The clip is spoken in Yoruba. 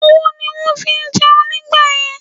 Ọwọ́ ni wón fí ń jẹun nígbàyẹn